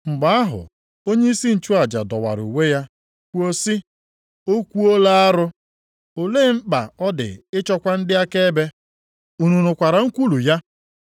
Mgbe ahụ onyeisi nchụaja dọwara uwe ya, kwuo sị, “O kwuola arụ! Olee mkpa ọ dị ịchọkwa ndị akaebe? Unu nụkwara nkwulu ya?